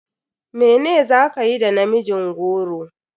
Mene za kayi da namijin goro?